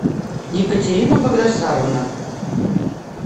екатерина багдасаровна